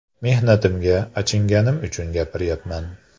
Mehnatimga achinganim uchun gapiryapman.